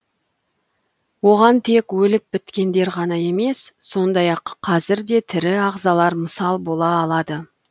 оған тек өліп біткендер ғана емес сондай ақ қазір де тірі ағзалар мысал бола алады